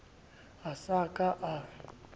a sa ka a a